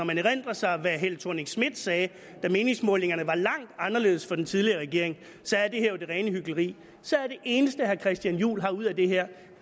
man erindrer sig hvad fru helle thorning schmidt sagde da meningsmålingerne var langt anderledes for den tidligere regering er det her jo det rene hykleri så det eneste herre christian juhl har ud af det her